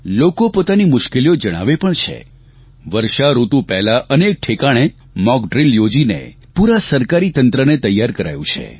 લોકો પોતાની મુશ્કેલીઓ જણાવે પણ છે વર્ષાઋતુ પહેલાં અનેક ઠેકાણે મોક ડ્રીલ યોજીને પૂરા સરકારી તંત્રને તૈયાર કરાયું છે